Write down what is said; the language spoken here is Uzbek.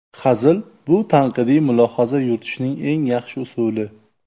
Hazil – bu tanqidiy mulohaza yuritishning eng yaxshi usuli.